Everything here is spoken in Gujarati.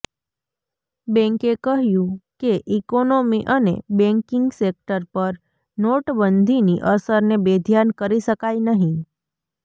બેંકે કહ્યું કે ઇકોનોમી અને બેંકિંગ સેક્ટર પર નોટબંધીની અસરને બેધ્યાન કરી શકાય નહીં